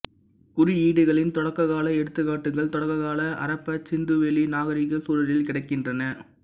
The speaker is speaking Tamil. குறியீடுகளின் தொடக்ககால எடுத்துக்காட்டுக்கள் தொடக்ககால அரப்பா சிந்துவெளி நாகரிகச் சூழலில் கிடைக்கின்றன